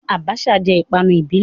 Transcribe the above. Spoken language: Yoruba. Abacha jẹ́ ìpanu ìbílẹ̀.